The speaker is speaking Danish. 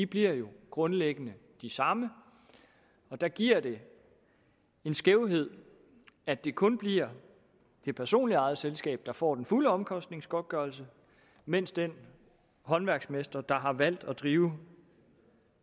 bliver jo grundlæggende de samme og der giver det en skævhed at det kun bliver det personligt ejede selskab der får den fulde omkostningsgodtgørelse mens den håndværksmester der har valgt at drive